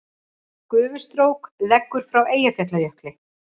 Gufustrók leggur frá Eyjafjallajökli